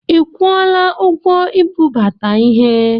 I kwụọla ụgwọ ibubata ihe?